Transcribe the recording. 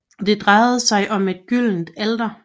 Det drejer sig om et gyldent alter